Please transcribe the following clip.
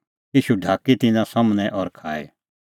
ईशू ढाकी तिन्नां सम्हनै और खाई